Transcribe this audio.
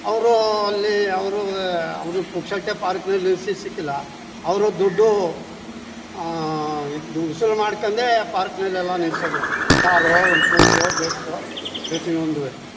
ಅವ್ರು ಅಲ್ಲಿ ಅವರು ವೇ ಅವ್ರು ಪುಕ್ಸಟ್ಟೆ ಪಾರ್ಕ್ ನಲ್ಲಿ ನಿಲ್ಲಿಸಲಿಕ್ಕಿಲ್ಲ ಅವ್ರು ದುಡ್ಡು ಆ ಆ ಇದು ವಸೂಲು ಮಾಡ್ಕೊಂಡೇ ಪಾರ್ಕ್ ನಲ್ಲೆಲ್ಲ ನಿಲ್ಸೋದು ಕಾರೋ ಒಂದು ಸ್ಕೂಟರ್ ಬಸ್ಸೋ ಪ್ರತಿಯೊಂದುವೆ.